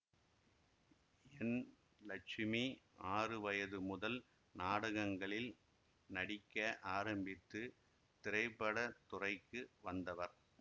என் லட்சுமி ஆறு வயது முதல் நாடகங்களில் நடிக்க ஆரம்பித்து திரைப்பட துறைக்கு வந்தவர்